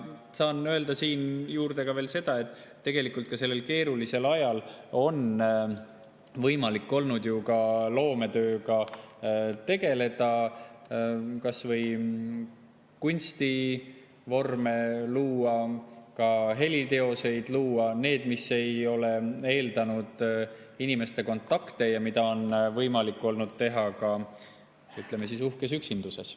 Saan öelda siia juurde seda, et ka sellel keerulisel ajal on võimalik olnud loometööga tegeleda, kas või kunstivorme luua, ka heliteoseid luua, teha seda, mis ei ole eeldanud inimestevahelisi kontakte ja mida on võimalik olnud teha, ütleme siis, uhkes üksinduses.